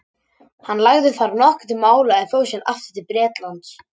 hann lagði þar nokkuð til mála en fór síðan aftur til bretlands